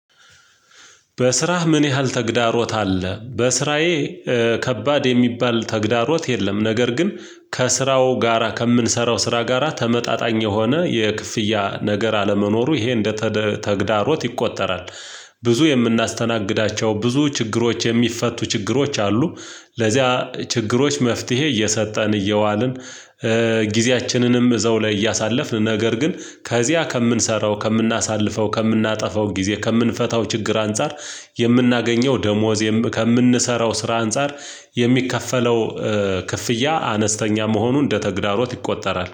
በስራህ ምን ያህል ተግዳሮት አለ? በስራዬ ከባድ የሚባል ተግዳሮት የለም። ነገር ግን ከስራው ጋራ ከምንሰራው ስራ ጋራ ተመጣጣኝ የሆነ የክፍያ ነገር አለመኖሩ ይሄ እንደተግዳሮት ይቆጠራል። ብዙ የምናስተናግዳቸው ብዙ ችግሮች የሚፈቱ ችግሮች አሉ። ለዚያ ችግሮች መፍትሄ እየሰጠን እየዋልን። ጊዜያችንንም እዘው ላይ እያሳለፍን ነገር ግን ከዚያ ከምንሰራው ከምናሳልፈው ከምናጠፋው ጊዜ ከምንፈታው ችግር አንፃር። የምናገኘው ደሞዝ ከምንሰራው ስራ አንፃር የሚከፈለው ክፍያ አነስተኛ መሆኑን እንደተግዳሮት ይቆጠራል